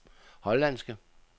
hollandske